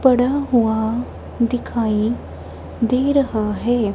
पड़ा हुआ दिखाई दे रहा है।